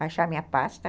achar minha pasta?